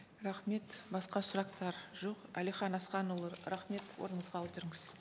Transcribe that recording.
рахмет басқа сұрақтар жоқ әлихан асханұлы рахмет орныңызға отырыңыз